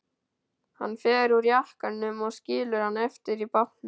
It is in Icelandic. Hann fer úr jakkanum og skilur hann eftir í bátnum.